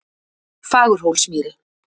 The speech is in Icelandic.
Fagurhólsmýri